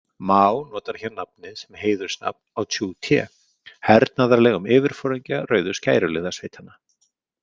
Maó notar hér nafnið sem heiðursnafn á Tsjú Téh, hernaðarlegum yfirforingja rauðu skæruliðasveitanna.